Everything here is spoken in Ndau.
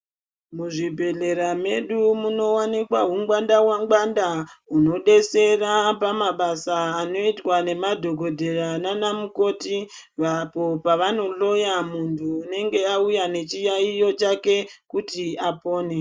Muzvibhedhlera mwedu munovanikwa hungwanda-ngwanda. Hunobetsera pamabasa anoitwa ngemadhogodheya nana mukoti. Apo pavanohloya muntu unonga auya nechiyaiyo chake kuti apone.